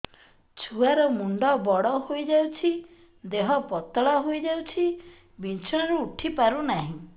ଛୁଆ ର ମୁଣ୍ଡ ବଡ ହୋଇଯାଉଛି ଦେହ ପତଳା ହୋଇଯାଉଛି ବିଛଣାରୁ ଉଠି ପାରୁନାହିଁ